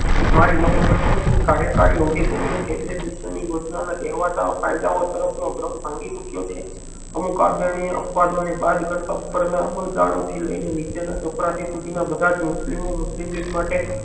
મારી કાર્યકારી અવધિ દરમિયાન કેબિનેટ મિશન ની યોજનાના કહેવાતા ફયદાઓ તરફનો ક્રમ ભાંગી ચુક્યો છે અમુક આદરણીય અપવાદોને બાદ કરતા ઉપરના અમલદરો થી લઈને નીચેના ચપરાસી સુધીના બધાજ મુસ્લિમો મુસ્લિમ લીગ માટે